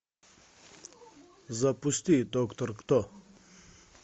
запусти доктор кто